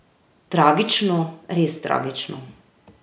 Tragično, res tragično.